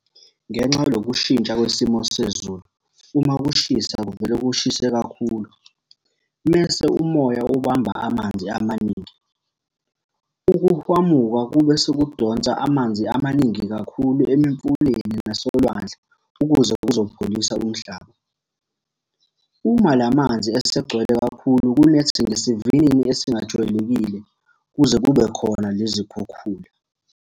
Ngenxa yaloku kushintsha kwesimo sezulu, uma kushisa kuvele kushise kakhulu, mese umoya ubamba amanzi amaningi. Ukuhwamuka kube sekudonsa amanzi amaningi kakhulu emimfuleni nasolwandle ukuze kuzopholisa umhlaba. Uma la manzi esegcwele kakhulu kunetha ngesivinini esingajwayelekile, kuze kube khona nezikhukhula.